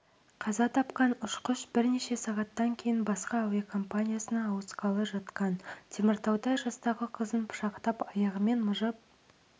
қаза тапқан ұшқыш бірнеше сағаттан кейін басқа әуекомпаниясына ауысқалы жатқан теміртауда жастағы қызын пышақтап аяғымен мыжып